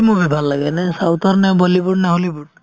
movie ভাল লাগে এনে south ৰ নে বলীউড নে হলিউড নে